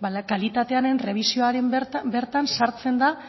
ba kalitatearen errebisioan bertan sartzen da